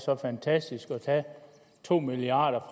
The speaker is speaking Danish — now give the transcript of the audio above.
så fantastisk at tage to milliard